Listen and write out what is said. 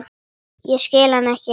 Ég skil hann ekki.